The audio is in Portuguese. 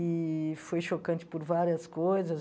E foi chocante por várias coisas.